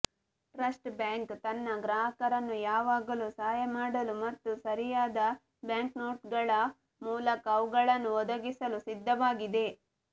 trust bank ತನ್ನ ಗ್ರಾಹಕರನ್ನು ಯಾವಾಗಲೂ ಸಹಾಯ ಮಾಡಲು ಮತ್ತು ಸರಿಯಾದ ಬ್ಯಾಂಕ್ನೋಟುಗಳ ಮೂಲಕ ಅವುಗಳನ್ನು ಒದಗಿಸಲು ಸಿದ್ಧವಾಗಿದೆ